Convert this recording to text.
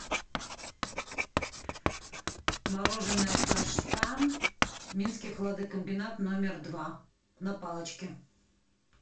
мороженое каштан минский хладокомбинат номер два на палочке